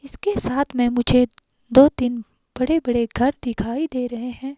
इसके साथ में मुझे दो तीन बड़े बड़े घर दिखाई दे रहे हैं।